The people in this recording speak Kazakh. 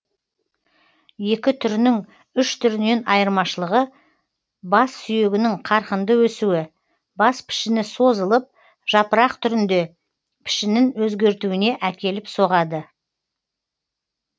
екі түрінің үш түрінен айырмашылығы бас сүйегінің қарқынды өсуі бас пішіні созылып жапырақ түрінде пішінін өзгертуіне әкеліп соғады